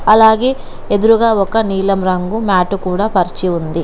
అలాగే ఎదురుగా ఒక నీలం రంగు మ్యాటు కూడా పరిచి ఉంది.